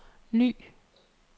ny